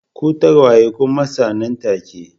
Ku tagwaye ku matsa nan take